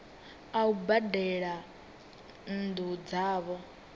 a u badela nnu dzavho